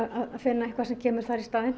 vinna eitthvað sem kemur þar í staðinn